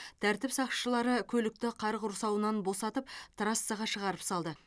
тәртіп сақшылары көлікті қар құрсауынан босатып трассаға шығарып салды